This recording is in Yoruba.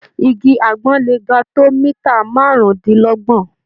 Igi àgbọn le ga tó mítà márùndínlọ́gbọ̀n.